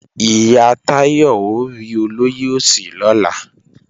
Ìyá Táyọ̀ ó rí olóyè Òsì lọ́la